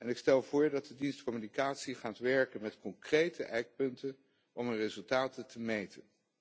Ik stel voor dat de dienst Communicatie gaat werken met concrete ijkpunten om zijn resultaten te meten.